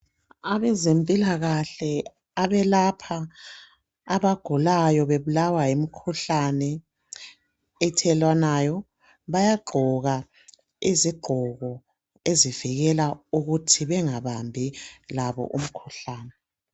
Abezempilakahle abelapha abagulayo bebulawa yimikhuhlane ethelelwanayo bayagqoka izigqoko ezivikela ukuthi bengabambi labo umkhuhlane.